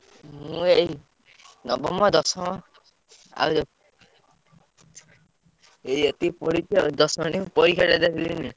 ମୁଁ ଏଇ ନବମ, ଦଶମ ଆଉ ଏଇ ଏତିକି ପଢିଛି ଆଉ ଦଶମ ଯାଏ କିନ୍ତୁ ପରୀକ୍ଷା ଟା ଦେଲିନି।